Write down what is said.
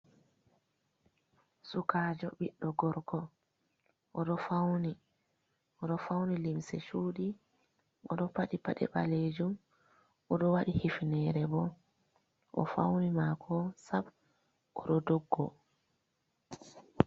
Sukajo ɓiɗɗo gorko oɗo fauni limse cudi, oɗo paɗi paɗe ɓalejum, oɗo waɗi hifnere bo. O'fauni mako sab oɗo doggo.